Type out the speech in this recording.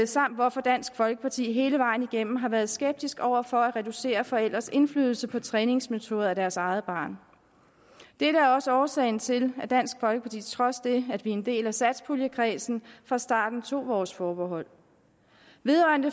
samt hvorfor dansk folkeparti hele vejen igennem har været skeptiske over for at reducere forældres indflydelse på træningsmetoder af deres eget barn dette er også årsagen til at dansk folkeparti trods det at vi er en del af satspuljekredsen fra starten tog vores forbehold vedrørende